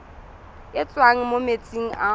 e tswang mo metsing a